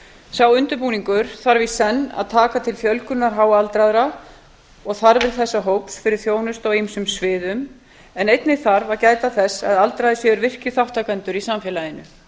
sá undirbúningur þarf í senn að taka til fjölgunar háaldraðra og þarfa þessa hóps fyrir þjónustu á ýmsum sviðum en einnig þarf að gæta þess að aldraðir séu virkir þátttakendur í samfélaginu